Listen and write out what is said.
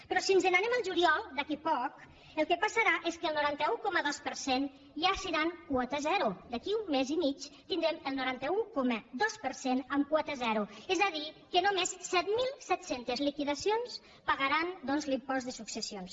però si ens n’anem al juliol d’aquí a poc el que passarà és que el noranta un coma dos per cent ja seran quota zero d’aquí a un mes i mig tindrem el noranta un coma dos per cent amb quota zero és a dir que només set mil set cents liquidacions pagaran doncs l’impost de successions